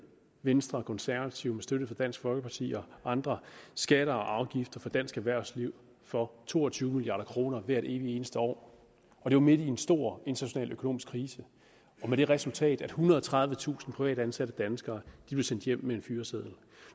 venstre og konservative med støtte fra dansk folkeparti og andre skatter og afgifter for dansk erhvervsliv for to og tyve milliard kroner hvert evige eneste år det var midt i en stor international økonomisk krise og med det resultat at ethundrede og tredivetusind privatansatte danskere blev sendt hjem med en fyreseddel